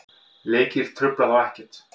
Leikir trufla þá ekkert.